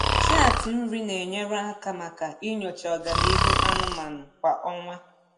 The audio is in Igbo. Chaatị nri na-enyere aka maka inyocha ọganihu anụmanụ kwa ọnwa.